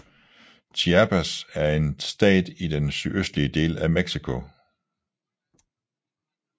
Chiapas er en stat i den sydøstlige del af Mexico